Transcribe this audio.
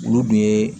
Olu dun ye